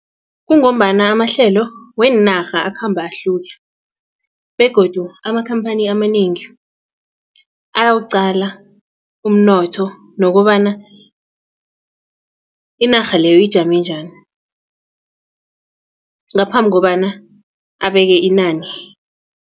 Kungombana amahlelo weenarha akhamba ahluke begodu amakhamphani amanengi ayawuqala umnotho nokobana inarha leyo ijame njani ngaphambi kobana abeke inani.